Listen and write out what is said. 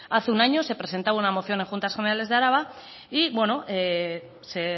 hace un año se presentaba una moción en juntas generales de araba y bueno se